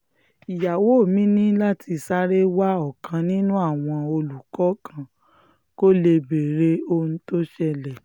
ìyàwó mi ní láti sáré wa ọ̀kan nínú àwọn olùkọ́ kan kó lè béèrè ohun tó ṣẹlẹ̀